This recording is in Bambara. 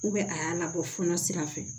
a y'a labɔ fonɛnɛ sira fɛ